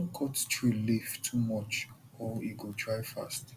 no cut tree leaf too much or e go dry fast